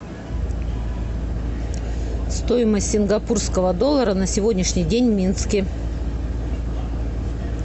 стоимость сингапурского доллара на сегодняшний день в минске